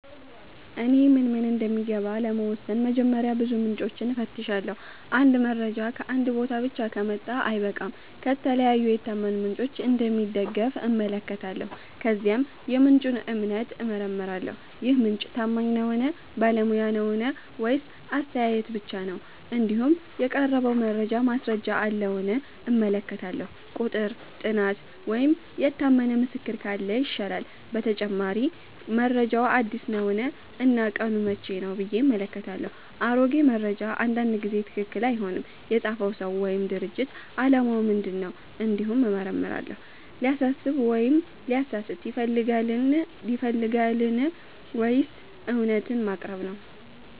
እኔ ምን እምን እንደሚገባ ለመወሰን በመጀመሪያ ብዙ ምንጮችን እፈትሻለሁ። አንድ መረጃ ከአንድ ቦታ ብቻ ከመጣ አልበቃም፤ ከተለያዩ የታመኑ ምንጮች እንደሚደገፍ እመለከታለሁ። ከዚያም የምንጩን እምነት እመረምራለሁ -ይህ ምንጭ ታማኝ ነዉን ?ባለሙያ ነዉን ?ወይስ አስተያየት ብቻ ነው ?እንዲሁም የቀረበው መረጃ ማስረጃ አለዉን እመለከታለሁ፤ ቁጥር፣ ጥናት ወይም የታመነ ምስክር ካለ ይሻላል። በተጨማሪ መረጃው አዲስ ነውን እና ቀኑ መቼ ነው ብዬ እመለከታለሁ፤ አሮጌ መረጃ አንዳንድ ጊዜ ትክክል አይሆንም። የፃፈው ሰው ወይም ድርጅት አላማ ምን ነው እንዲሁም እመረምራለሁ፤ ሊያሳስብ ወይም ሊያሳስት ይፈልጋልን ወይስ እውነትን ማቅረብ ነው